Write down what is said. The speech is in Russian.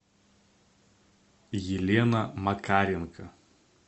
елена макаренко